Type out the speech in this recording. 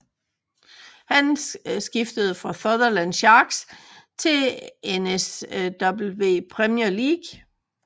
Han skiftede fra Sutherland Sharks i NSW Premier League